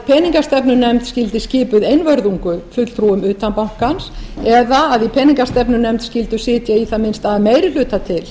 peningastefnunefnd skyldi skipuð einvörðungu fulltrúum utan bankans eða að í peningastefnunefnd skyldu sitja að minnsta kosti að meiri hluta til